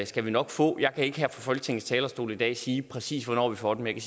skal vi nok få jeg kan ikke her fra folketingets talerstol i dag sige præcis hvornår vi får den men